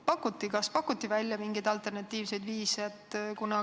Kas üldse pakuti välja mingeid alternatiivseid viise?